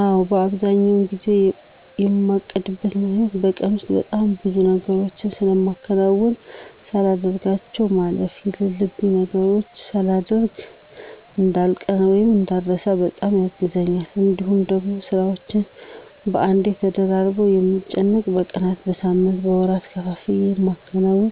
አዎ። አብዛኛውን ጊዜ የማቅድበት ምክኒያቱ በቀን ውስጥ በጣም ብዙ ነገሮችን ስለማከናውን ሳላደርጋቸው ማለፍ የለሉብኝን ነገሮች ሳላደሮግ እዳልቀር ( እንዳረሳ) በጣም ያግዘኛል። እንዲሁም ደግሞ ስራዎቼን በአንዴ ተደራርበው ከምጨነቅ በቀናት፣ በሳምንት፣ በወራት ከፋፍዬ ለማከናወን